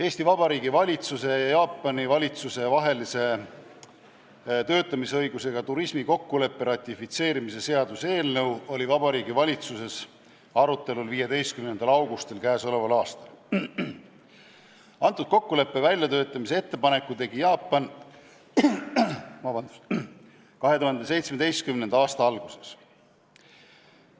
Eesti Vabariigi valitsuse ja Jaapani valitsuse vahelise töötamisõigusega turismi kokkuleppe ratifitseerimise seaduse eelnõu oli Vabariigi Valitsuses arutelul 15. augustil k.a. Antud kokkuleppe väljatöötamise ettepaneku tegi Jaapan 2017. aasta alguses.